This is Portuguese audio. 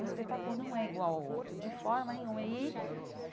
Um espetáculo não é igual ao outro, de forma nenhuma e.